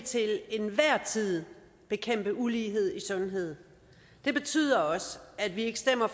til enhver tid bekæmpe ulighed i sundhed det betyder også at vi ikke stemmer